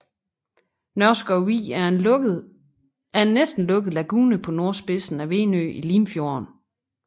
Nørskov Vig er en næsten lukket lagune på nordspidsen af Venø i Limfjorden